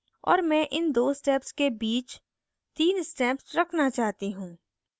और मैं इन दो steps के बीच तीन steps रखना चाहती हूँ